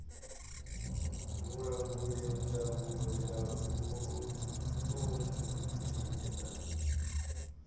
vhulanguli ndangulo ya vhuṱundi na